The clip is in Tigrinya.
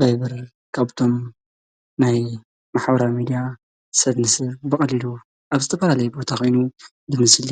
ቫይቨር ካብቶም ናይ ማሕበራዊ ሚድያ ሰብ ንሰብ ብቀሊሉ አብ ዝተፈላለየ ቦታ ኮይኑ ብምስሊ